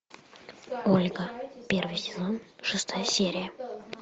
ольга первый сезон шестая серия